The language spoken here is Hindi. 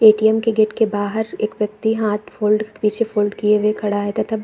ए.टी.एम. के गेट के बाहर एक व्यक्ति हाथ फोल्ड पीछे फोल्ड किये हुए खड़ा है तथा --